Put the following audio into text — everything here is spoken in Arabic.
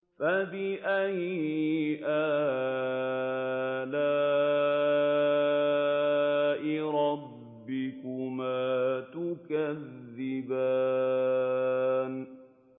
فَبِأَيِّ آلَاءِ رَبِّكُمَا تُكَذِّبَانِ